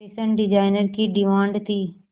fashion designer की demand थी